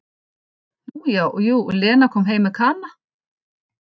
Nú já, jú, Lena kom heim með Kana.